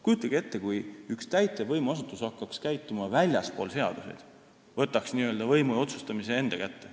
Kujutage ette, kui üks täitevvõimu asutus hakkaks käituma väljaspool seadusi, võtaks n-ö võimu ja otsustamise enda kätte.